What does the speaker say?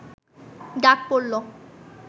ডাক পড়ল